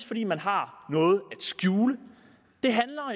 fordi man har noget skjule det handler